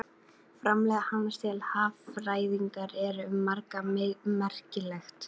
Framlag hans til haffræðinnar er um margt merkilegt.